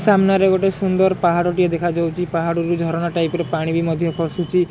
ସାମ୍ନାରେ ଗୋଟେ ସୁନ୍ଦର ପାହାଡ଼ ଟିଏ ଦେଖା ଯାଉଚି ପାହାଡ଼ରୁ ଝରଣା ଟାଇପ୍ ର ପାଣି ବି ମଧ୍ୟ ଖସୁଚି।